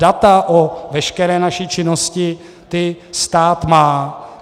Data o veškeré naší činnosti, ta stát má.